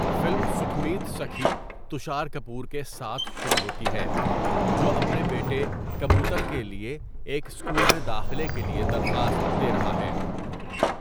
Film سکھمیت سکھی تشار کپور کے ساتھ شروع ہوتی ہے جو اپنے بیٹے کبوتر کے لیے ایک اسکول میں داخلے کے لیے درخواست دے رہا ہے.